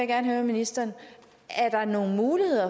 gerne høre ministeren er der nogen mulighed